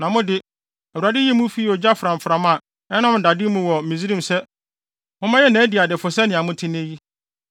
Na mo de, Awurade yii mo fii ogya framfram a ɛnan dade mu wɔ Misraim sɛ mommɛyɛ nʼadiadefo sɛnea mote nnɛ yi.